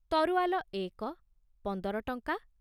ତରୁଆଲ ଏକ ପଂଦର ଟଂକା